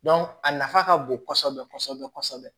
a nafa ka bon kosɛbɛ kosɛbɛ